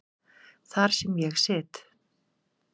Þar sem ég sit.